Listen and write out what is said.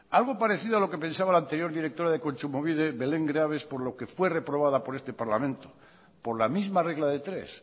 algo parecido a lo que pensaba la anterior directora de kontsumobide belén greaves por lo que fue reprobada por este parlamento por la misma regla de tres